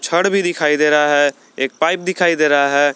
छड़ भी दिखाई दे रहा है एक पाइप दिखाई दे रहा है।